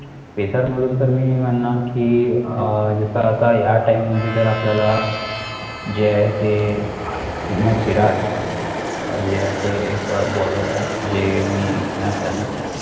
FACER मधून तर मी म्हणणार कि, अं जसं आता या TIME मध्ये तर आपल्याला जे आहे ते, महुम्म्द सिराज जे आहे ते एक BALLER आहे जे, मी घेणार त्यांना,